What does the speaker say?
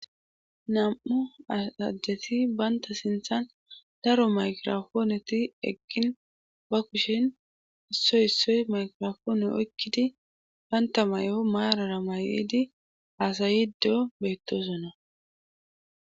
nam7u asajjeti banta sinthan daro maykirafooneti eqgin ba kushen issoy issoy makirfoone oykkidi banta may7o maarara mayedi aasayiddo beettosonna